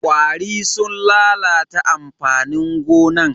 ƙwari sun lalata amfanin gonan.